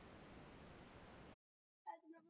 Og það einn af sögufrægustu klúbbum Englands.